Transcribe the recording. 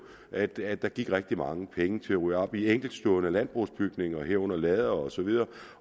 at at der gik rigtig mange penge til at rydde op i enkeltstående landbrugsbygninger herunder lader og så videre